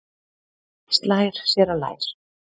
Slær sér á lær.